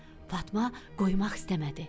Fatma qoymaq istəmədi.